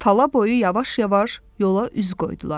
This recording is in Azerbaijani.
Tala boyu yavaş-yavaş yola üz qoydular.